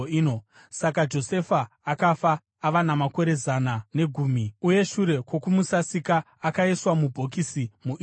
Saka Josefa akafa ava namakore zana negumi. Uye shure kwokumusasika, akaiswa mubhokisi muIjipiti.